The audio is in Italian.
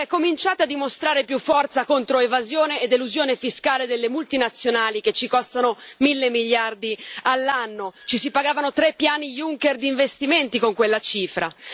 Cominciate a dimostrare più forza contro l'evasione e l'elusione fiscale delle multinazionali, che ci costano mille miliardi all'anno si pagavano tre piani Juncker di investimenti, con quella cifra.